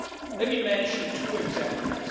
Let me mention two examples.